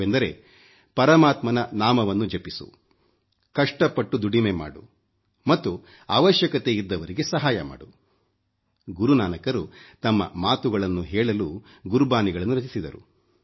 ಅವೆಂದರೆ ಪರಮಾತ್ಮನ ನಾಮವನ್ನು ಜಪಿಸು ಕಷ್ಟ ಪಟ್ಟು ದುಡಿಮೆ ಮಾಡು ಮತ್ತು ಅವಶ್ಯಕತೆ ಇದ್ದವರಿಗೆ ಸಹಾಯ ಮಾಡು ಗುರು ನಾನಕರು ತಮ್ಮ ಮಾತುಗಳನ್ನು ಹೇಳಲು ಗುರುಬಾನಿಗಳನ್ನು ರಚಿಸಿದರು